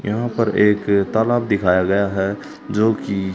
यहां पर एक तालाब दिखाया गया है जो की--